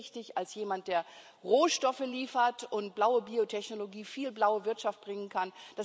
Sie sind sehr wichtig als jemand, der Rohstoffe liefert und blaue Biotechnologie, viel blaue Wirtschaft bringen kann.